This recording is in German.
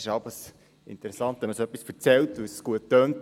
Es ist stets interessant, wenn man so etwas erzählt, weil es gut tönt.